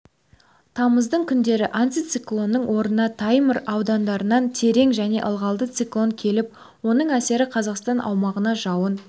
тамыздың күндері антициклонның орнына таймыр аудандарынан терең және ылғалды циклон келіп оның әсері қазақстан аумағына жауын